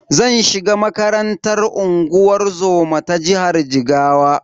Zan shiga makarantar unguwar zoma ta jihar Jigawa.